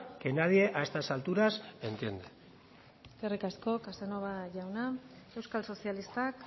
que nadie a estas alturas entiende eskerrik asko casanova jauna euskal sozialistak